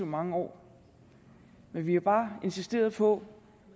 mange år men vi har bare insisteret på